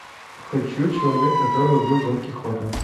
хочу человек который убил дон кихота